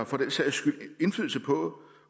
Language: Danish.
for den sags skyld indflydelse på